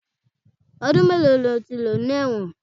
Ọdún mélòó ni o ti lò ní ẹ̀wọ̀n?